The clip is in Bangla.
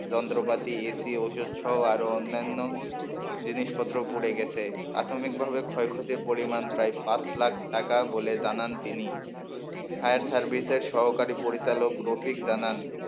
যন্ত্রপাতি AC ওষুধসহ আরো অন্যান্য জিনিসপত্র পুড়ে গেছে প্রাথমিকভাবে ক্ষয়ক্ষতির পরিমাণ প্রায় পাঁচ লাখ টাকা বলে জানান তিনি ফায়ার সার্ভিসের সহকারী পরিচালক রফিক জানান,